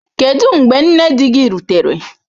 Kedu mgbe nne di gị rutere?